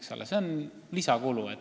See on lisakulu.